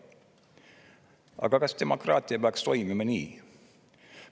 Aga kas demokraatia peaks nii toimima?